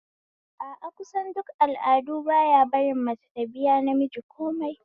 A a, kusan duk al'adu baya barin mace ta biya namiji komai